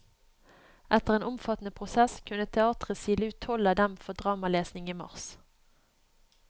Etter en omfattende prosess kunne teatret sile ut tolv av dem for dramalesning i mars.